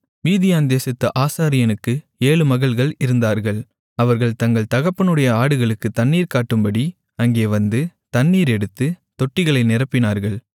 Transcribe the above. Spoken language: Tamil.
மீதியான் தேசத்து ஆசாரியனுக்கு ஏழு மகள்கள் இருந்தார்கள் அவர்கள் தங்கள் தகப்பனுடைய ஆடுகளுக்குத் தண்ணீர் காட்டும்படி அங்கே வந்து தண்ணீர் எடுத்து தொட்டிகளை நிரப்பினார்கள்